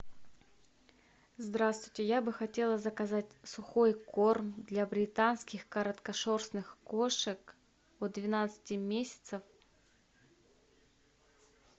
здравствуйте я бы хотела заказать сухой корм для британских короткошерстных кошек от двенадцати месяцев